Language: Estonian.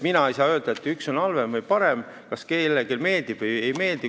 Mina ei saa öelda, et üks on halvem või parem, kas kellelegi meeldib või ei.